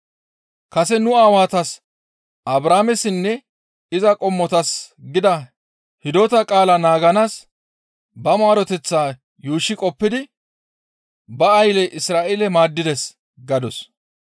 Kase nu aawatas Abrahaamessinne iza qommotas gida hidota qaala naaganaas ba maareteththaa yuushshi qoppidi ba aylle Isra7eele maaddides» gadus.